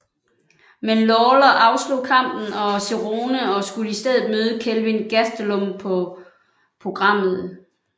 Men Lawler afslog kampen og Cerrone og skulle i stedet møde Kelvin Gastelum på programmet